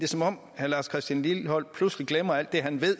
som om herre lars christian lilleholt pludselig glemmer alt det han ved i